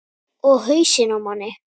Og hausinn á manni.